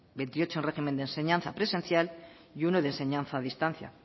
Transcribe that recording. veintiocho en régimen de enseñanza presencial y uno de enseñanza a distancia